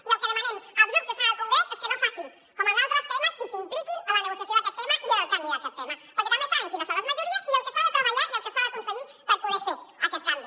i el que demanem als grups que estan al congrés és que no facin com en d’altres temes i s’impliquin en la negociació d’aquest tema i en el canvi d’aquest tema perquè també saben quines són les majories i el que s’ha de treballar i el que s’ha d’aconseguir per poder fer aquest canvi